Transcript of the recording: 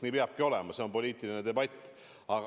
Nii peabki olema, see on poliitiline debatt.